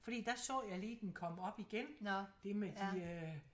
Fordi der så jeg lige den kom op igen dét med de øh